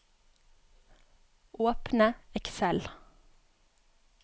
Åpne Excel